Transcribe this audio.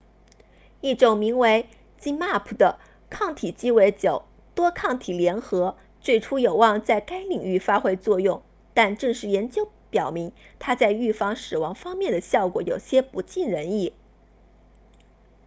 一种名为 zmapp 的抗体鸡尾酒”多抗体联合最初有望在该领域发挥作用但正式研究表明它在预防死亡方面的效果有些不尽人意